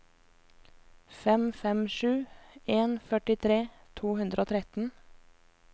fem fem sju en førtitre to hundre og tretten